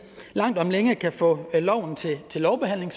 langt om længe kan få loven til lovbehandling